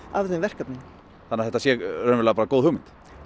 af þeim verkefnin þannig að þetta sé bara góð hugmynd